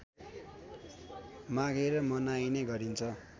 मागेर मनाइने गरिन्छ